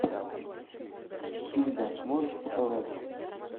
хильда можешь показать